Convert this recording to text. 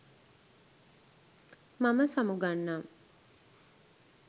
මම සමුගන්නම්